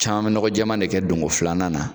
Caman be nɔgɔ jɛɛma nen kɛ don go filanan na